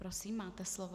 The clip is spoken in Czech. Prosím, máte slovo.